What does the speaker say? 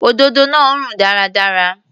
Òdòdó náà rùn dáradára.